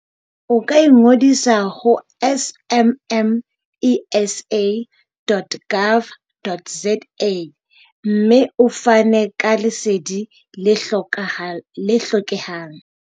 O ka ingodisa ho smmesa.gov.za. mme o fane ka Lesedi le hlokehang.